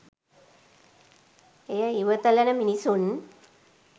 එය ඉවතලන මිනිසුන්